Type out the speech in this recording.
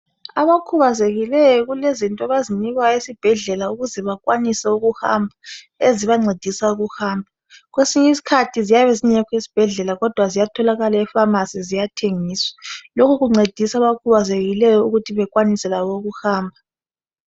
Abakhubazekileyo kulezinto abazinikwayo esibhedlela ukuze bakwanise ukuhamba ezibancedisa ukuhamba , kwesinye iskhathi ziyabe zingekho esibhedlela kodwa ziyatholakala epharmacy ziyathengiswa , lokhu kuncedisa abakhubazekileyo ukuthi bekwanise labo ukuhamba